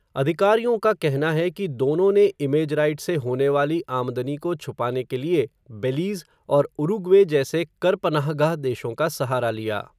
अधिकारियों का कहना है, कि दोनों ने इमेज राइट्स से होने वाली आमदनी को छुपाने के लिए, बेलीज़, और उरूग्वे जैसे कर पनाहगाह देशों का सहारा लिया.